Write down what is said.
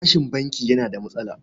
Bashin banki yana da matsala.